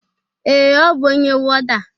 Ee,ọ bụ onye wọda